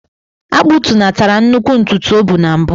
A kpụtunatara nnukwu ntutu o bu na mbụ.